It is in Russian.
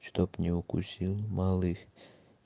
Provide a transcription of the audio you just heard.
чтоб не укусил малых